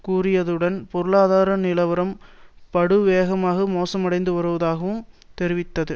கூறியதுடன் பொருளாதார நிலவரம் படுவேகமாக மோசமடைந்து வருவதாகவும் தெரிவித்தது